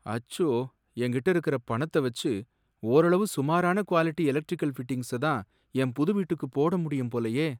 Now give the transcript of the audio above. அச்சோ! என்கிட்ட இருக்குற பணத்த வச்சு ஓரளவு சுமாரான குவாலிடி எலக்டிரிக்கல் ஃபிட்டிங்ஸ தான் என் புது வீட்டுக்கு போட முடியும் போலயே.